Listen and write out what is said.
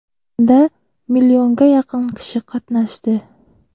Unda millionga yaqin kishi qatnashdi.